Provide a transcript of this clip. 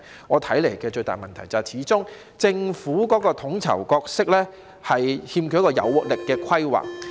我看到最大的問題是，政府的統籌角色始終欠缺有活力的規劃。